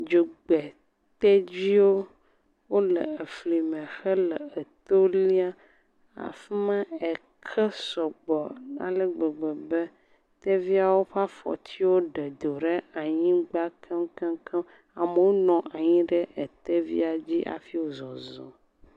dzogbe tedziwo wole fli me hele etó laim afima eke sɔgbɔ ale gbegbe be tedziawo ƒa fɔtiwo ɖe do ɖa nyigbã keŋkeŋkeŋ amowo nɔnyi ɖe tedzia dzi hafi wo zɔzɔm